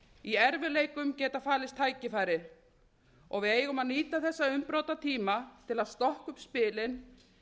í erfiðleikum geta falist tækifæri við eigum að nýta þessa umbrotatíma til að stokka upp spilin